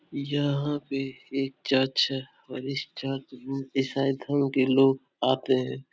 यहाँ पे एक चर्च है और इस चर्च में ईसाई धर्म के लोग आते हैं।